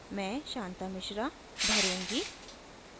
मैं शांता मिश्रा भरूँगी